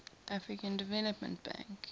african development bank